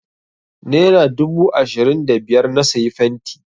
Nera dubu ashirin da biyar na sayi fenti.